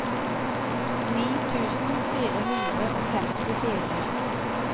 ni tusen fire hundre og femtifire